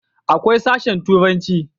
akwai sashen turanci